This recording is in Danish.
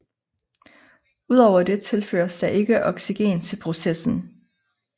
Ud over det tilføres der ikke oxygen til processen